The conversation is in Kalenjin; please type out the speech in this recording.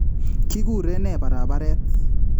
Kiguren nee barabareet?